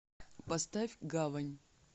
поставь гавань